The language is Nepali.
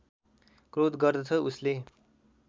क्रोध गर्दछ उसले